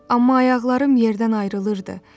Amma ayaqlarım yerdən ayrılırdı.